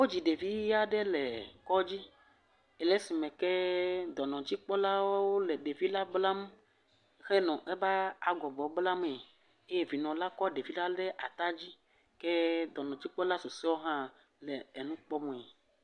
Wodzi ɖevi yeye aɖe le kɔdzi le esime ke kee dɔnɔdzikpɔlawo le ɖevila blam henɔ eƒe agɔbɔ blamee. Eye vinɔla kɔ ɖevila ɖe tadzi eye dɔnɔdzikpɔla susuewo hã le enu kpɔmee.